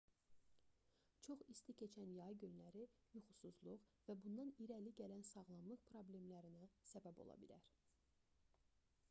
çox isti keçən yay günləri yuxusuzluq və bundan irəli gələn sağlamlıq problemlərinə səbəb ola bilər